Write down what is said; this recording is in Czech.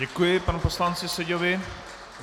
Děkuji panu poslanci Seďovi.